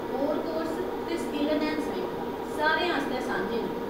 Corps course ते skill enhancement सारे आस्तै सांझे न ।